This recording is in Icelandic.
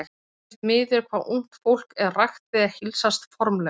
Mér finnst miður hvað ungt fólk er ragt við að heilsast formlega.